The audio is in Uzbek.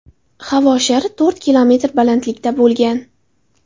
Havo shari to‘rt kilometr balandlikda bo‘lgan.